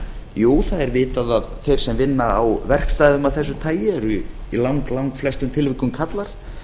jú það er vitað að þeir sem vinna á verkstæðum af þessu tagi er í lang langflestum tilvikum karlar